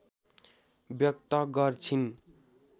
व्यक्त गर्छिन्।